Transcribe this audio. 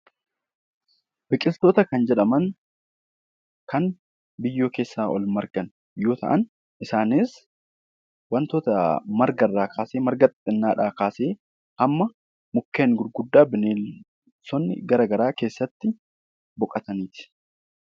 Biqiltoota kan jedhaman kan biyyoo keessaa ol margan yoo ta'an isaanis wantoota marga irraa kaasee, marga xixinnaa dhaa kaasee hamma mukkeen gurguddaa bineensonni gara garaa keessatti boqotanii ti.